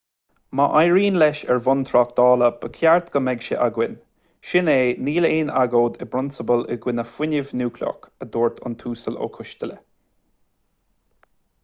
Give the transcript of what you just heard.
má éiríonn leis ar bhonn tráchtála ba cheart go mbeadh sé againn sin é níl aon agóid i bprionsabal i gcoinne fuinneamh núicléach a dúirt an tuasal ó coisteala